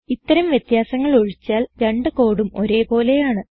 ഇത്തരം വ്യത്യാസങ്ങൾ ഒഴിച്ചാൽ രണ്ട് കോഡും ഒരേ പോലെയാണ്